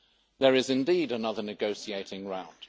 There is indeed another negotiating round.